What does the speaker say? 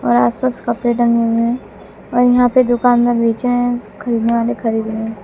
और आस पास कपड़े टंगे हुए हैं और यहां पे दुकानदार बेच रहे हैं और उसको खरीदने वाले खरीद रहे हैं।